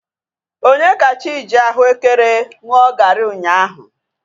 Onyekachi ji ahuekere ṅụọ gari ụnyaahụ